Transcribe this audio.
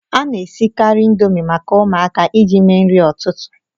A na-esikarị Indomi maka ụmụaka iji mee nri ụtụtụ